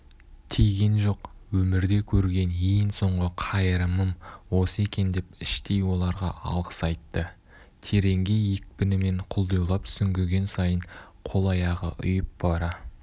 тиген жоқ өмірде көрген ең соңғы қайырымым осы екен деп іштей оларға алғыс айтты тереңге екпінімен құлдилап сүңгіген сайын қол-аяғы ұйып бара